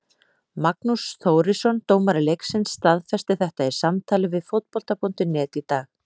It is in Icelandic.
Magnús Þórisson dómari leiksins staðfesti þetta í samtali við Fótbolta.net í dag.